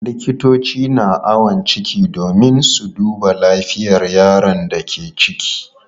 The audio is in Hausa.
Likitoci na awon ciki domin su duba lafiyar yaron da ke ciki.